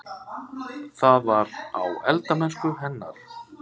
Það var: á eldamennsku hennar.